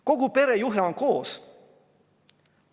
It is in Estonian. Kogu pere juhe oli koos.